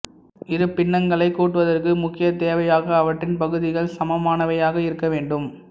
இரு பின்னங்களைக் கூட்டுவதற்கு முக்கிய தேவையாக அவற்றின் பகுதிகள் சமமானவையாக இருக்க வேண்டும்